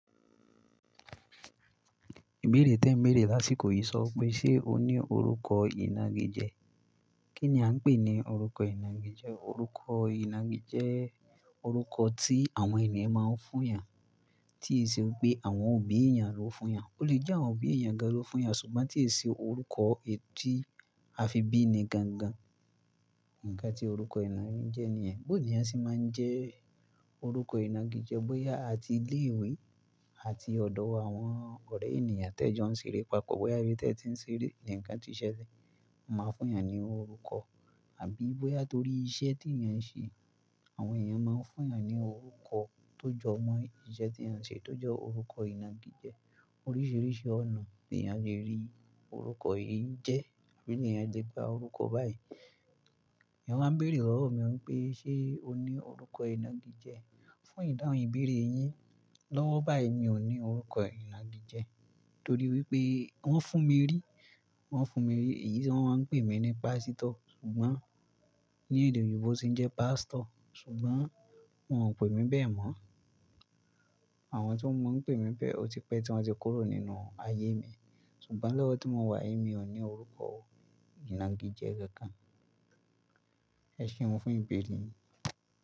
Ìbéèrè tí ẹ ń béèrè lásìkò yìí sọ pé ṣe o ní orúkọ ìnagijẹ́? Kí ni a ń pè ní orúkọ ìnagijẹ́? Orúkọ ìnagijẹ́, orúkọ tí àwọn ènìyàn máa ń fún eeyàn tí ì ṣe wípé àwọn òbí ènìyàn ló fún eeyàn. O lè jẹ́ àwọn òbí èèyàn gan ló fún eeyàn ṣùgbọ́n tí ẹ ṣe orúkọ èyi tì a fi bí ni gangan. Ǹkan tí orúkọ ìnagijẹ́ nìyẹn. Bóò niyán se máa ń jẹ́ orúkọ ìnagijẹ́ bóyá àti ilé ìwé àti ọ̀dọ̀ àwọn ọ̀rẹ́ ènìyàn tẹ jọ ń ṣeré papọ̀, bóyá ibi tí ẹ ti ń ṣeré nǹkan tí ì ṣelẹ máa fún eeyàn ní orúkọ àbí bóyà torí iṣẹ́ tí ènìyàn ń ṣe. Àwọn ènìyàn máa ń fún eeyàn ní orúkọ tó jọ mọ́ iṣẹ́ tí à ń ṣe, tó jẹ́ orúkọ ìnagijẹ́. Oríṣìíríṣìí ọ̀nà ni àa lè rí orúkọ yìí jẹ́, àbí ènìyàn lè gba orúkọ báyìí. Eeyan máa ń béèrè lọ́wọ́ mi wípé ṣe o ní orúkọ ìnagijẹ́? Fún ìdáhùn ìbéèrè yín lọ́wọ́ báyìí mi ò ní orúkọ ìnagijẹ́ torí wípé wón fún mi rí, wón fún mi rí. Èyí tí wón máa ń pè mí ní pásítọ̀ ṣùgbọ́n ní èdè oyinob sì ń jẹ́ pastor ṣùgbọ́n wón ò pè mí bẹ́ẹ̀ mọ́. Àwọn tí mo mọ̀ ń pè mí bẹ́ẹ̀ ó ti pẹ́ tí wón ti kúrò nínú ayé mi. Ṣùgbọ́n lọ́wọ́ tí mo wà èyí mi ò ní orúkọ ìnagijẹ́ kankan. Ẹṣéun fún ìbéèrè yìí?